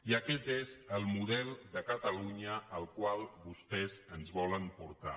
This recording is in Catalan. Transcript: i aquest és el model de catalunya al qual vostès ens volen portar